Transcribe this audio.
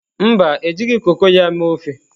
Mba, e jighị koko ya mee ofe.